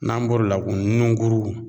N'an bɔr'o la kun nungurun